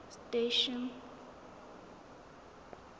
station